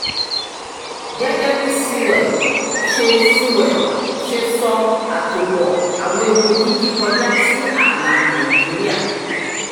gẹ́gẹ́ bí sewell ṣe sewell ṣe sọ àtòpọ̀-àwọ̀n epo jíjí kọjá sí ààlà nàìjíríà.